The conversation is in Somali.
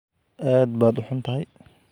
Aad baad u xun tahay